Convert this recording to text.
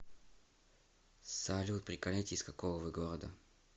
салют приколите из какого вы города